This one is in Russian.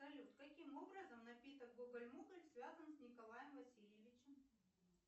салют каким образом напиток гоголь моголь связан с николаем васильевичем